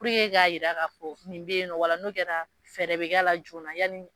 k'a jir'la k'a fɔ nin bɛ yen o la n'o kɛra fɛɛrɛ bɛ k'a la joona yani